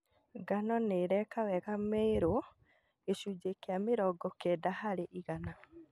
Ngano nĩ ĩreka wega Meru (gĩcunjĩ kĩa mĩrongo kenda harĩ igana)